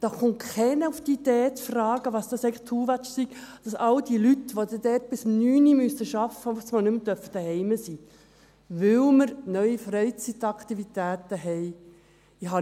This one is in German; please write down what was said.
Da kommt keiner auf die Idee zu fragen, zu sagen, dass dies eigentlich «too much» sei, dass all die Leute, die dort bis um 21 Uhr arbeiten müssen, auf einmal nicht mehr daheim sein dürfen, weil wir neue Freizeitaktivitäten haben.